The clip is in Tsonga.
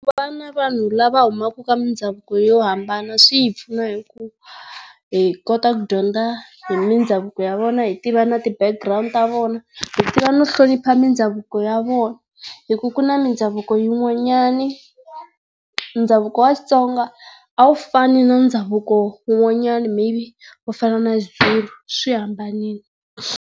na vanhu lava humaka ka mindhavuko yo hambana swi hi pfuna hi ku hi kota ku dyondza hi mindhavuko ya vona hi tiva na ti background ta vona, hi tiva no hlonipha mindhavuko ya vona hi ku ku na mindhavuko yin'wanyana ndhavuko wa Xitsonga a wu fani na ndhavuko wun'wanyana maybe wu fana na xi Zulu swi hambanile.